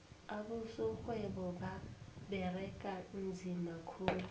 abosorhwebo baberega nzima khulu